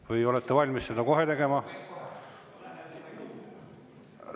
Või olete valmis seda kohe tegema?